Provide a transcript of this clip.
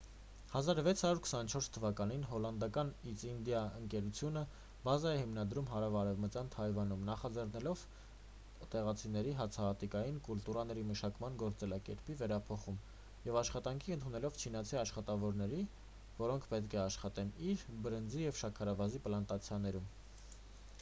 1624 թվականին հոլանդական իսթ ինդիա ընկերությունը բազա է հիմնադրում հարավարևմտյան թայվանում նախաձեռնելով տեղացիների հացահատիկային կուլտուրաների մշակման գործելակերպի վերափոխում և աշխատանքի ընդունելով չինացի աշխատավորների որոնք պետք է աշխատեին իր բրնձի և շաքարավազի պլանտացիաներում